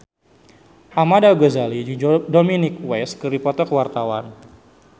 Ahmad Al-Ghazali jeung Dominic West keur dipoto ku wartawan